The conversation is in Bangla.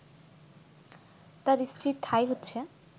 তার স্ত্রীর ঠাঁই হচ্ছে